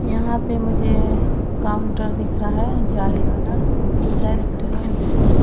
यहां पे मुझे काउंटर दिख रहा है जाली वाला ई शायद ट्रेन है।